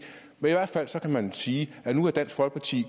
hvert fald kan man sige at nu er dansk folkeparti